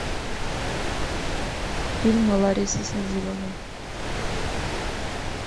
фильм ларисы садиловой